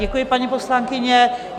Děkuji, paní poslankyně.